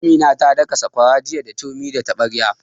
Amina ta daka sakwara jiya da turmi da taɓarya